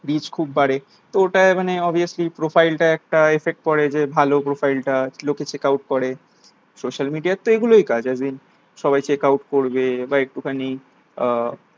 reach খুব বাড়ে তো ওটায় মানে obviously profile তা একটা affect পরে যে ভালো profile টা লোকে checkout করে social media র তো এগুলোই কাজযে as in সবাই check out করবে বা একটু খানি আহ